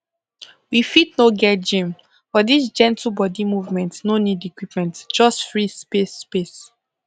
we fit no get gym but this gentle body movement no need equipment just free space space